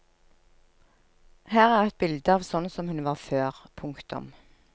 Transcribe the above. Her er et bilde av sånn som hun var før. punktum